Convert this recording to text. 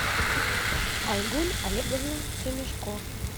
айгуль олеговна семишко